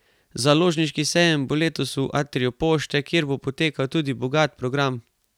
Založniški sejem bo letos v Atriju Pošte, kjer bo potekal tudi bogat program.